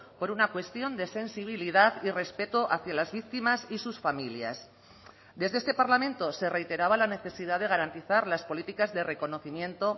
por una cuestión de sensibilidad y respeto hacia las víctimas y sus familias desde este parlamento se reiteraba la necesidad de garantizar las políticas de reconocimiento